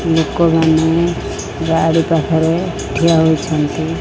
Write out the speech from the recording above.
ଲୋକମାନେ ଗାଡ଼ି ପାଖରେ ଠିଆ ହୋଇଛନ୍ତି।